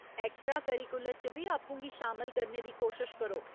Extra curricular च बी आपूं गी शामल करने दी कोशश करो।